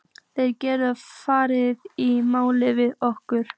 Þeir gætu farið í mál við okkur.